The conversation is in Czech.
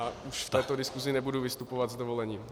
A už v této diskusi nebudu vystupovat, s dovolením.